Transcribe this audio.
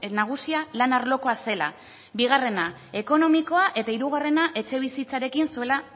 nagusia lan arlokoa zela bigarrena ekonomikoa eta hirugarrena etxebizitzarekin zuela